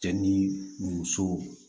Cɛ ni muso